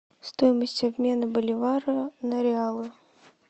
стоимость обмена боливара на реалы